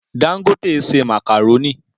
Dangote ṣe màkàrónì